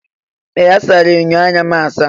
Ee! A sara enyo anya m asa.